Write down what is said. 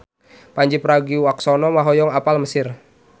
Pandji Pragiwaksono hoyong apal Mesir